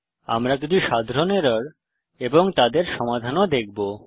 আমরা কিছু সাধারণ এরর এবং তাদের সমাধান ও দেখবো